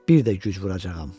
Bir də güc vuracağam.